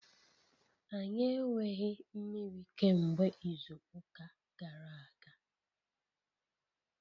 Anyị enweghị mmiri kemgbe izu ụka gara aga.